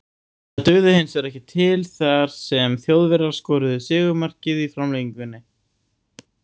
Það dugði hinsvegar ekki til þar sem Þjóðverjar skoruðu sigurmarkið í framlengingu.